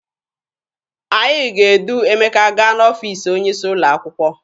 Anyị ga-edu Emeka gaa n'ọfiisi onye isi ụlọ akwụkwọ.